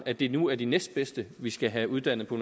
at det nu er de næstbedste vi skal have uddannet på